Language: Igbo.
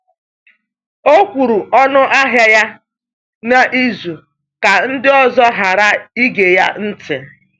O kwuru ọnụahịa ya n’izu ka ndị ọzọ ghara ige ya ntị.